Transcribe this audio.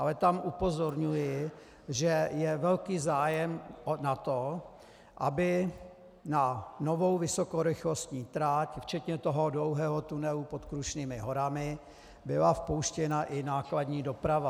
Ale tam upozorňuji, že je velký zájem na tom, aby na novou vysokorychlostní trať včetně toho dlouhého tunelu pod Krušnými horami byla vpuštěna i nákladní doprava.